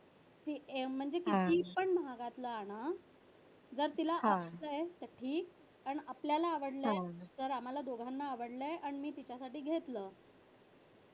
ती म्हणजे कितीपण महागातलं आणा जर तिला आवडलय आपल्याला आवडलय आम्हाला दोघांना आवडलय आणि मी कधी घेतलं.